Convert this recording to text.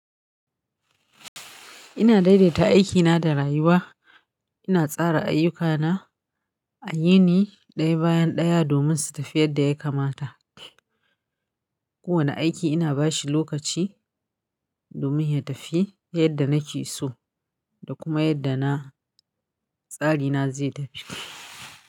Ina daidaita aikina da rayuwa. Ina tsara ayyukana a yini ɗaya bayan ɗaya domin su tafi yadda ya kamata. Kowane aiki ina bashi lokaci domin ya tafi yadda nake so da kuma yadda na tsarina zai tafi.